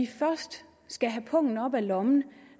først skal have pungen op af lommen